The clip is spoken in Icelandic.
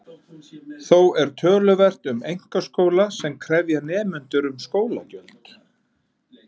Þó er töluvert um einkaskóla sem krefja nemendur um skólagjöld.